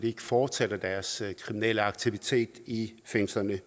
ikke fortsætter deres kriminelle aktivitet i fængslerne